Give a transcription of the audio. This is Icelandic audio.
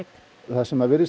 það sem virðist